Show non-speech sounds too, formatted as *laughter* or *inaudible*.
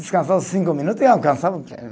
Descansava cinco minutos e alcançava o *unintelligible*